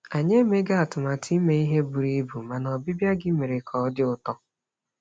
Anyị emeghị atụmatụ ime ihe buru ibu, mana ọbịbịa gị mere ka ọ dị ụtọ.